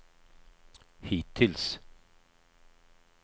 hittills